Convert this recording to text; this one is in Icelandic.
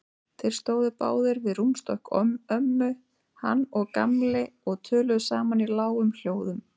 Þeir stóðu báðir við rúmstokk ömmu, hann og Gamli, og töluðu saman í lágum hljóðum.